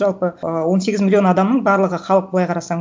жалпы ы он сегіз миллион адамның барлығы халық былай қарасаң